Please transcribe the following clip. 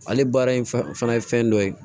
Ale baara in fɛn fana ye fɛn dɔ ye